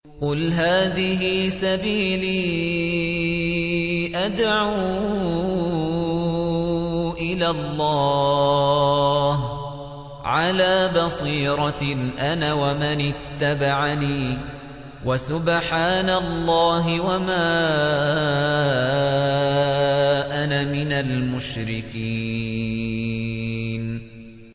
قُلْ هَٰذِهِ سَبِيلِي أَدْعُو إِلَى اللَّهِ ۚ عَلَىٰ بَصِيرَةٍ أَنَا وَمَنِ اتَّبَعَنِي ۖ وَسُبْحَانَ اللَّهِ وَمَا أَنَا مِنَ الْمُشْرِكِينَ